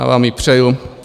Já vám ji přeju.